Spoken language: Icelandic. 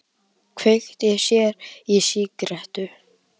Kveikti sér í sígarettu.